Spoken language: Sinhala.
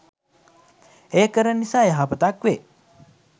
එය කරන නිසා යහපතක් වේ.